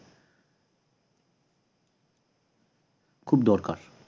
খুব দরকার